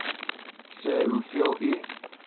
sê hoeveel u